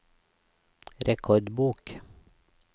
rekordbok